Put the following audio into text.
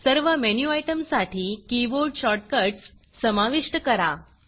सर्व मेनू आयटमसाठी keyboard shortcuts समाविष्ट करा